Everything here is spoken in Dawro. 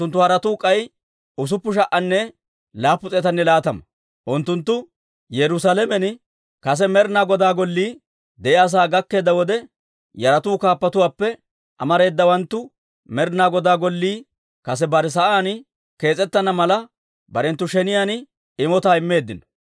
Unttunttu Yerusaalamen kase Med'ina Goda Gollii de'iyaa sa'aa gakkeedda wode, yaratuu kaappatuwaappe amareedawanttu Med'inaa Godaa Gollii kase bare sa'aan kees's'ettana mala, barenttu sheniyaan imotaa immeeddino.